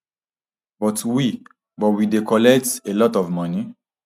but we but we dey collect a lot of money